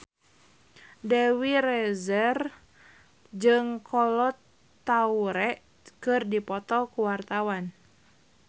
Dewi Rezer jeung Kolo Taure keur dipoto ku wartawan